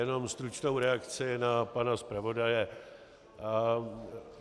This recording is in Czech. Jenom stručnou reakci na pana zpravodaje.